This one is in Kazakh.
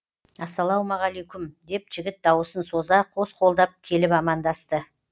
ассалаумағалейкүм деп жігіт дауысын соза қос қолдап келіп амандасты